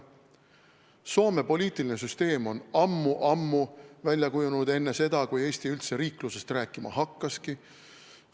Soome poliitiline süsteem on ammu-ammu välja kujunenud, enne seda, kui Eestis üldse riiklusest rääkima hakatigi.